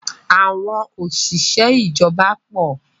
Àwọn òṣìṣẹ́ ìjọba pọ̀.